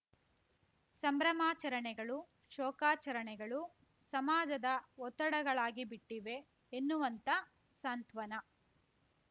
ಸಂಭ್ರಮಾಚರಣೆಗಳು ಶೋಕಾಚರಣೆಗಳು ಸಮಾಜದ ಒತ್ತಡಗಳಾಗಿಬಿಟ್ಟಿವೆ ಎನ್ನುವಂತ ಸಾಂತ್ವನ